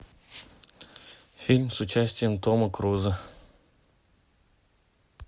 фильм с участием тома круза